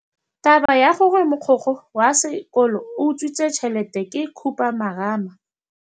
Taba ya gore mogokgo wa sekolo o utswitse tšhelete ke khupamarama.